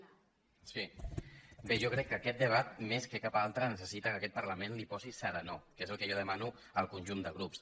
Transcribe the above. bé jo crec que a aquest debat més que cap altre necessita que aquest parlament hi posi serenor que és el que jo demano al conjunt de grups